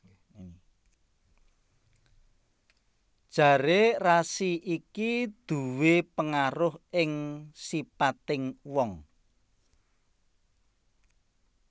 Jaré rasi iki nduwé pengaruh ing sipating wong